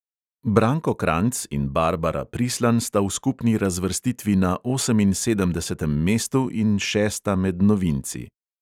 Branko kranjc in barbara prislan sta v skupni razvrstitvi na oseminsedemdesetem mestu in šesta med novinci.